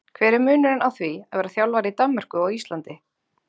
En hver er munurinn á því að vera þjálfari í Danmörku og á Íslandi?